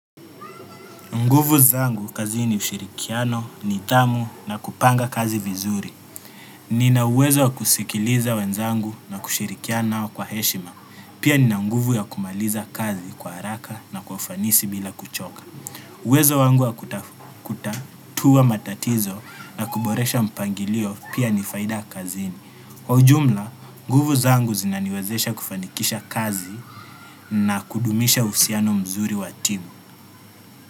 Nguvu zangu kazini ni ushirikiano, ni tamu na kupanga kazi vizuri. Nina uwezo wa kusikiliza wenzangu na kushirikiano nao kwa heshima. Pia nina nguvu ya kumaliza kazi kwa haraka na kwa ufanisi bila kuchoka. Uwezo wangu ya kutatua matatizo na kuboresha mpangilio pia ni faida kazini. Kwa ujumla nguvu zangu zinaniwezesha kufanikisha kazi na kudumisha uhusiano mzuri wa timu.